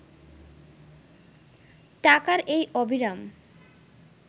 টাকার এই অবিরাম